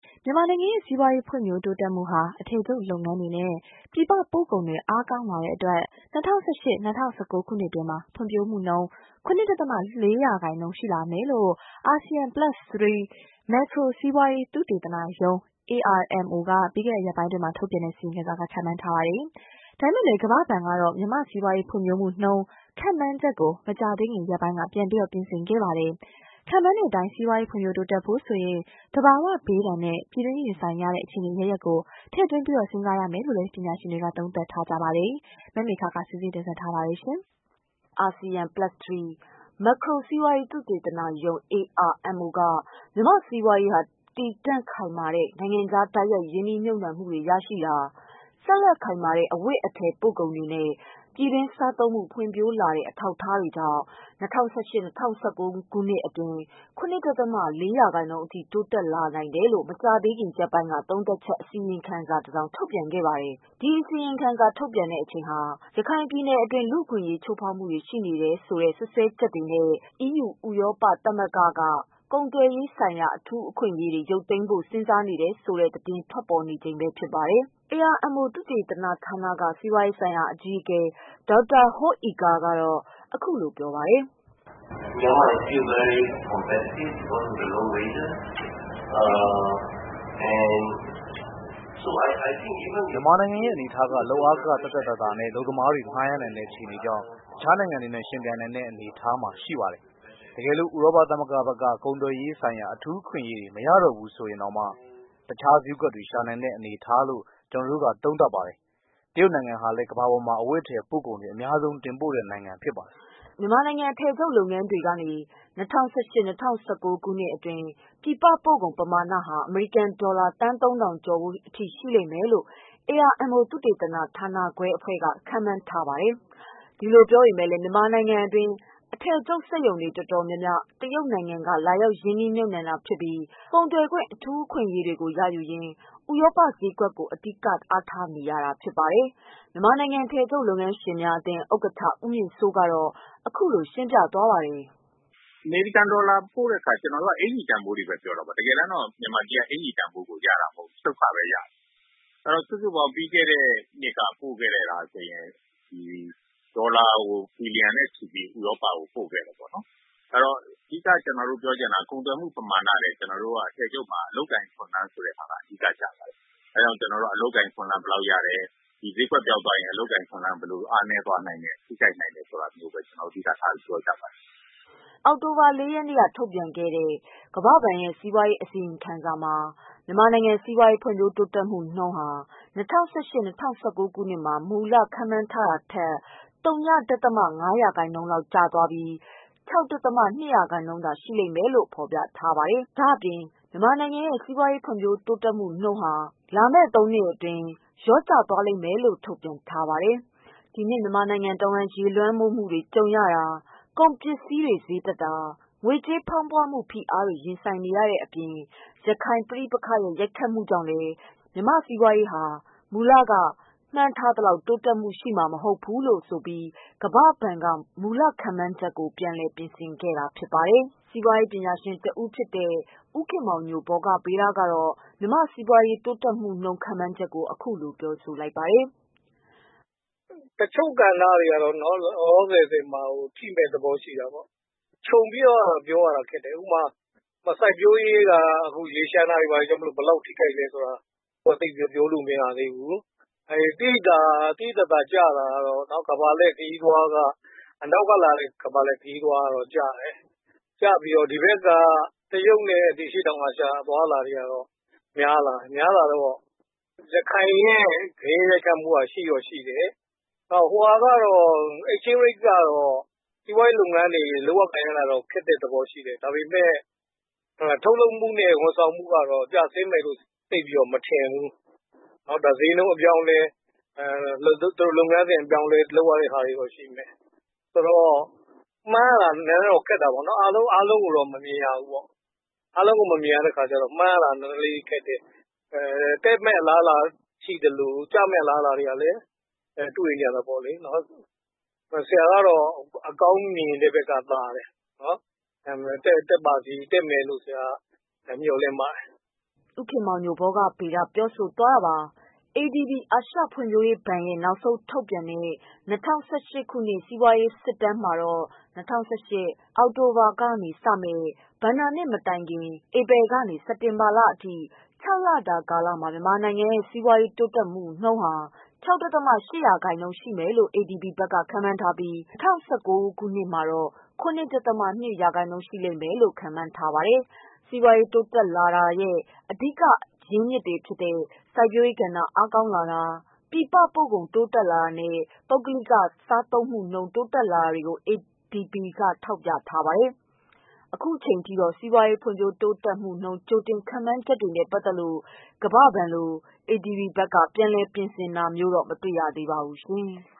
မြန်မာနိုင်ငံရဲ့ စီးပွားရေး ဖွံ့ဖြိုးုတိုးတက်မှုဟာ အထည်ချုပ်လုပ်ငန်းတွေနဲ့ ပြည်ပပို့ကုန်တွေ အားကောင်းလာတဲ့အတွက် ၂၀၁၈-၂၀၁၉ ခုနှစ်အတွင်း ဖွံဖြိုးမှုနှုန်း ၇ ဒသမ ၄ ရာခိုင်နှုန်းအထိ ရှိလာမယ်လို့ အာဆီယံ + 3 မက်ခရိုစီးပွားရေး သုတေသနရုံး က ပြီးခဲ့တဲ့ရက်ပိုင်းအတွင်း ထုတ်ပြန်တဲ့ အစီရင်ခံစာမှာ ခန့်မှန်းပါတယ်။ ဒါပေမဲ့လည်း ကမ္ဘာဘဏ်ကတော့ မြန်မာစီးပွားရေးဖွံ့ဖြိုးမှုနှုန်း ခန့်မှန်းချက်ကို မကြာသေးခင်ရက်ပိုင်းက ပြန်လည်ပြင်ဆင်ခဲ့ပါတယ်။ ခန့်မှန်းတဲ့ အတိုင်း စီးပွားရေးဖွံ့ဖြိုးတိုးတက်ဖို့ဆိုရင် သဘာဝဘေးဒဏ်နဲ့ ပြည်တွင်းရင်ဆိုင်ရတဲ့ အခြေအနေအရပ်ရပ်ကို ထည့်သွင်းစဉ်းစားရမယ်လို့လည်း ပညာရှင်တွေက သုံးသပ်ပါတယ်။ မမေခက စုစည်းတင်ပြထားပါတယ်။ အာဆီယံ + ၃ မက်ခရိုစီးပွားရေး သုတေသနရုံး က မြန်မာ့စီးပွားရေးဟာ တည်တံ့ခိုင်မာတဲ့ နိုင်ငံခြား တိုက်ရိုက်ရင်းနှီးမြုတ်နှံမှုတွေ ရှိတာ။ ဆက်လက်ခိုင်မာတဲ့ အဝတ်အထည်ပို့ကုန်တွေနဲ့ ပြည်တွင်းစားသုံးမှု ဖွံ့ဖြိုးလာတဲ့ အထောက်အကူတွေကြောင့် ၂၀၁၈၊ ၂၀၁၉ ခုနှစ်အတွင်း ၇ ဒသမ ၄ ရာခိုင်နှုန်း အထိ တိုးတက်လာနိုင်တယ်လို့ မကြာသေးခင်ရက်ပိုင်းက သုံးသပ်ချက် အစီရင်ခံစာ ထုတ်ပြန်ခဲ့ပါတယ်။ ဒီ အစီရင်ခံစာထုတ်ပြန်တဲ့အချိန်ဟာ ရခိုင်ပြည်နယ်အတွင်း လူ့အခွင့်အရေးချိုးဖေါက်မှုတွေ ရှိနေတယ်ဆိုတဲ့ စွပ်စွဲချက်နဲ့ အီးယူ ဥရောပ သမဂ္ဂဘက်က ကုန်သွယ်ရေးဆိုင်ရာ အထူး အခွင့်အရေးတွေ ရုပ်သိမ်းဖို့ စဉ်းစားနေတယ်ဆိုတဲ့ သတင်းတွေ ထွက်ပေါ်နေတဲ့အချိန်ဖြစ်ပါတယ်။ AMRO သုသေသနဌာနက က စီးပွားရေးဆိုင်ရာ အကြီးအကဲ Dr. Hoe Ee Khor က အခုလို ပြောပါတယ်။ " မြန်မာနိုင်ငံရဲ့ အနေအထားက လုပ်အားခ သက်သက်သာသာနဲ့ အလုပ်သမားတွေ ငှားရမ်းနိုင်တဲ့ အခြေအနေကြောင့် တခြားနိုင်ငံတွေနဲ့ ယှဉ်ပြိုင်နိုင်တဲ့ အနေအထားမှာ ရှိနေပါတယ်။ တကယ်လို့ ဥရောပ သမဂ္ဂဘက်က ကုန်သွယ်ရေးဆိုင်ရာ အထူးအခွင့်အရေးတွေ မရတော့ဘူးဆိုရင်တောင် တခြား ဈေးကွက်တွေ ရှာနိုင်တဲ့အနေအထားလို့ ကျနော်တို့က သုံးသပ်ပါတယ်။ တရုတ်နိုင်ငံဟာလည်း ကမ္ဘာပါ်မှာ အဝတ်အထည်ပို့ကုန်တွေ အများဆုံး တင်ပို့တဲ့ နိုင်ငံဖြစ်ပါတယ်။" မြန်မာနိုင်ငံ အထည်ချုပ်လုပ်ငန်းတွေကနေ ၂၀၁၈၊ ၂၀၁၉ ခုနှစ်အတွင်း ပြည်ပပို့ကုန် ပမာဏဟာ အမေရိကန် ဒေါ်လာ သန်းသုံးထောင်ကျော်ဖိုး အထိ ရှိမယ်လို့ AMRO သုသေသနဌာနအဖွဲ့က ခန့်မှန်းပါတယ်။ ဒီလို ပြောပေမဲ့လည်း မြန်မာနိုင်ငံအတွင်း အထည်ချုပ်စက်ရုံတွေ တော်တော်များများ တရုတ်နိုင်ငံက လာရောက်ရင်းနှီးမြုပ်နှံတာဖြစ်ပြီး ကုန်သွယ်ခွင့် အထူး အခွင့်အရေးတွေကို ရယူရင်း ဥရောပ ဈေးကွက်ကို အဓိက အားထားနေတာဖြစ်ပါတယ်။ မြန်မာနိုင်ငံ အထည်ချုပ်လုပ်ငန်းရှင်များအသင်း ဥက္ကဋ္ဌ ဦးမြင့်စိုး ကတော့ အခုလို ရှင်းပြပါတယ်။ "အမေရိကန်ဒေါ်လာပြောတဲ့ အခါကျနော်တို့က အကျီတန်ဖိုးတွေဘဲပြောတာပေါ့။ မြန်မာပြည်က အကျီတန်ဖိုးရတာမဟုတ်ဘူး ချုပ်ခဘဲရတာ။ စုစုပေါင်းပြီးခဲ့တဲ့ နှစ်ကပို့ခဲ့တာဆိုရင် ဒေါ်လာဘီလီယံနဲ့ချီ ပြီးဥရောပကိုပို့ခဲ့တယ်ပေါ့နော်။ ကုန်သွယ်မှုမမာဏထက်ကျနော်တို့ဆီမှာ အထည်ချုပ်မှာ အလုပ်အကိုင်အခွင့်အလမ်း ကိုပိုပြီးအဓိကကျပါတယ်။ ဒီဈေးကွက်ပျောက်ရင် အလုပ်အကိုင်အခွင့်အလမ်းဘယ်လောက်ပျောက်လဲဆိုတာ အဓိကထားပြောကြပါတယ်။ " အောက်တိုဘာလ ၄ ရက်နေ့က ထုတ်ပြန်ခဲ့တဲ့ ကမ္ဘာဘဏ်ရဲ့ အစီရင်ခံစာမှာ မြန်မာနိုင်ငံစီးပွားရေး ဖွံ့ဖြိုးတိုးတက်မှုနုန်းဟာ ၂၀၁၈-၂၀၁၉ ခုနှစ်မှာ မူလရည်မှန်းထားတာထက် သုည ဒသမ ငါး ရာခိုင်နှုန်း လျော့ကျသွားပြီး ၆ ဒသမ ၂ ရာခိုင်နှုန်းသာ ရှိမယ်လို့ ဖေါ်ပြထားပါတယ်။ ဒါ့အပြင် မြန်မာနိုင်ငံရဲ့ စီးပွားရေးဖွံ့ဖြိုးမှုနှုန်း လာမယ့်သုံးနှစ်အတွင်း လျော့ကျသွားနိုင်တယ်လို့လည်း ထုတ်ပြန်ခဲ့ပါတယ်။ ဒီနှစ် မြန်မာနိုင်ငံ တဝှမ်း ရေလွှမ်းမိုးမှုတွေကြုံရတာ၊ ကုန်ပစ္စည်းဈေးတွေတက်တာ၊ ငွေကြေးဖေါင်းပွမှု ဖိအားတွေ ရင်ဆိုင်ရတာတွေအပြင် ရခိုင်ပဋိပက္ခရဲ့ ရိုက်ခတ်မှုကြောင့်လည်း မြန်မာ့စီးပွားရေးဟာ မူလက မှန်းထားသလောက် တိုးတက်မှု ရှိမှာ မဟုတ်ဘူးဆိုပြီး ကမ္ဘာဘဏ်က မူလခန့်မှန်းချက်ကို ပြန်လည် ပြင်ဆင်ခဲ့တာဖြစ်ပါတယ်။ စီးပွားရေးပညာရှင်တဦးဖြစ်တဲ့ ဦးခင်မောင်ညို ဗောဂဗေဒကတော့ မြန်မာ စီးပွား ရေးတိုးတက်မှုနှုန်း ခန့်မှန်းချက်ကို အခုလို ပြောဆိုပါတယ်။ "တချို့ကဏ္ဍတွေကတော့နော် လောလောဆယ်မှာထိမယ့်သဘောရှိတာပေါ့နော်။ ခြုံပြီးပြောရတာ ခက်တယ်။ စိုက်ပျိုးရေးဆိုရင် ရေလ ျှံတာကြောင့်ဘယ်လောက်ထိလဲပြောလို့မရသေး ဘူး။ သိသိသာသာ ကျဆင်းတာကတော့ အနောက်ကလာတဲ့ ကမ္ဘာလှည့်ခရီးသွားဝင်တာကျပြီးတရုတ်နဲ့ အရှေ့တောင်အာရှဘက်က များလာတယ်။ ရခိုင် ဂယက်ရိုက်ခတ်မှုကရှိတော့ရှိတယ်။ ငွေလဲနှုန်း က စီးပွားရေးလုပ်ငန်းအတွက် အခက်အခဲရှိစေတာမှန်တယ်။ ထုတ်လုပ်မှုနဲ့ ဝန်ဆောင်မှုကကျဆင်း မယ်လို့မထင်ဘူး။ မှန်းရတာတော့ခက်တယ်။ အားလုံးတော့မမြင်ရဘူး။ တက်မယ့်အလားလားရှိသလို ကျမယ့်အလားအလားလည်းရှိတယ်။ ဆရာကတော့ အကောင်း ဘက်ကိုဘဲရှုမြင်ပါတယ်" ဦးခင်မောင်ညို ပြောဆိုသွားတာပါ။ ADB အာရှဖွံ့ဖြိုးရေးဘဏ်ရဲ့ နောက်ဆုံး ထုတ်ပြန်တဲ့ ၂၀၁၈ ခုနှစ် စီးပွားရေး စစ်တမ်းမှတော့ ၂၀၁၈ ခုနှစ် အောက်တိုဘာလမှာစတင်မယ့် ဘဏ္ဍာနှစ်အသစ်မတိုင်ခင် ဧပြီလကနေ စက်တင်ဘာလအထိ ခြောက်လတာ ကာလမှာ မြန်မာနိုင်ငံရဲ့ စီးပွားရေး တိုးတက်မှု ၆.၈% ရှိမယ်လို့ ADB က ခန့်မှန်းထားပြီး ၂၀၁၉ ဘဏ္ဍာနှစ်မှာ ၇.၂% ရှိမယ်လို့ ခန့်မှန်းထားပါတယ်။ စီးပွားရေးတိုးတက်လာတာရဲ့ အဓိကအကြောင်းတွေအဖြစ် စိုက်ပျိုးရေးကဏ္ဍ အားကောင်းလာတာ၊ ပြည်ပပို့ကုန် တက်လာတာနဲ့ ပုဂ္ဂလိကစားသုံးမှုနှုန်း ပိုတက်လာတွေကို ADB က ထောက်ပြထားပါတယ်။ အခုအချိန်အထိတော့ စီးပွားရေး ဖွံ့ဖြိုးမှုနှုန်း ကြိုတင် ခန့်မှန်းချက်တွေနဲ့ပတ်သက်လို့ ကမ္ဘာဘဏ်လို ADB ဘက်က ပြန်လည် ပြင်ဆင်တာမျိုးတော့ မတွေ့ရသေးပါဘူး။